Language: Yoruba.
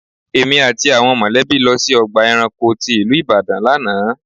Èmi àti àwọn mọ̀lẹ́bí lọ sí ọgbà ẹranko tí ìlú Ìbàdàn lánàá.